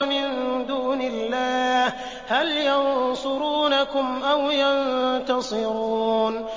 مِن دُونِ اللَّهِ هَلْ يَنصُرُونَكُمْ أَوْ يَنتَصِرُونَ